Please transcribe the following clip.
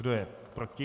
Kdo je proti?